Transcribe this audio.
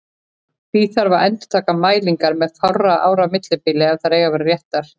Því þarf að endurtaka mælingar með fárra ára millibili ef þær eiga að vera réttar.